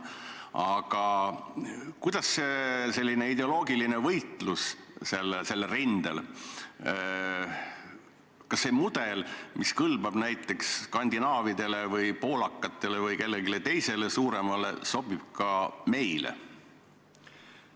Aga kas see mudel, mis kõlbab näiteks skandinaavlastele või poolakatele või kellelegi teisele suuremale, sobib ka meile?